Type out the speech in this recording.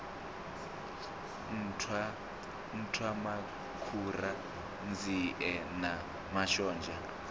nṱhwa nṱhwamakhura nzie na mashonzha